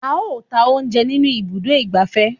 A ó ta oúnjẹ nínú ibùdó ìgbafẹ́.